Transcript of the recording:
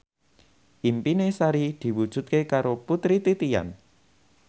impine Sari diwujudke karo Putri Titian